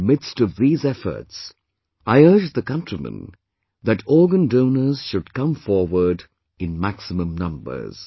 In the midst of these efforts, I urge the countrymen that organ donors should come forward in maximum numbers